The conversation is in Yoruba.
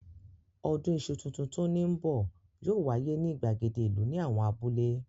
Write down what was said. Ọdún iṣu tuntun tó ní bọ̀ yóò wáyé ní ìgbàgede ìlú ní àwọn abúlé.